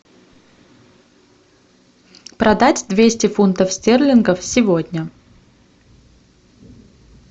продать двести фунтов стерлингов сегодня